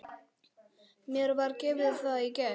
Mér var gefið það í gær.